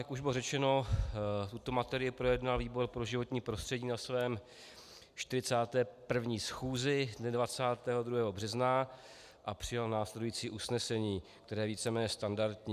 Jak už bylo řečeno, tuto materii projednal výbor pro životní prostředí na svém 41. schůzi dne 22. března a přijal následující usnesení, které je víceméně standardní.